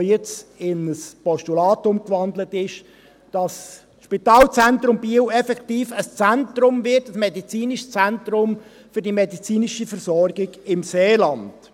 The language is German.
die jetzt in ein Postulat umgewandelt ist, dass das Spitalzentrum Biel effektiv ein Zentrum wird, ein medizinisches Zentrum für die medizinische Versorgung im Seeland.